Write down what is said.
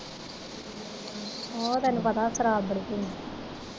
ਉਹ ਤੈਨੂੰ ਪਤਾ ਸਰਾਬ ਬੜੀ ਪੀੰਦਾ।